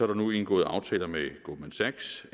der nu indgået aftaler med goldman sachs